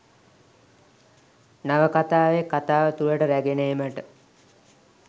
නවකතාවේ කතාව තුළට රැගෙන ඒමට